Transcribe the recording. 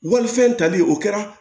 Walifɛn tali o kɛra